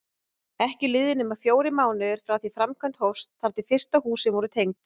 Ef kubburinn er leysanlegur þá er leysta ástandið innihaldið í safninu okkar.